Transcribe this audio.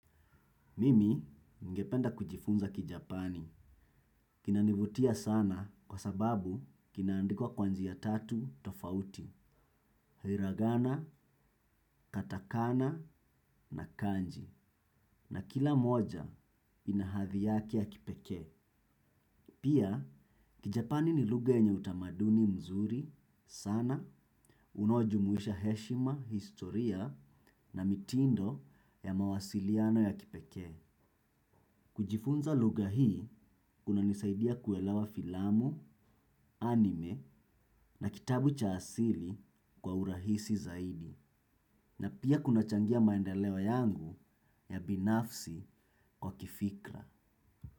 Mimi ningependa kujifunza kijapani. Kina nivutia sana kwa sababu kinaandikwa kwa njia tatu tofauti. Hiragana, katakana na kanji. Na kila moja inahadhi yake ya kipeke. Pia kijapani ni lugha yenye utamaduni mzuri sana. Unaojumuisha heshima, historia na mitindo ya mawasiliano ya kipekee. Kujifunza lugha hii kuna nisaidia kuelawa filamu, anime na kitabu cha asili kwa urahisi zaidi na pia kunachangia maendeleo yangu ya binafsi kwa kifikra.